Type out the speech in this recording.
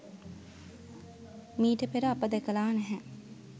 මීට පෙර අප දැකලා නැහැ.